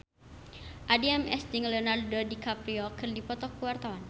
Addie MS jeung Leonardo DiCaprio keur dipoto ku wartawan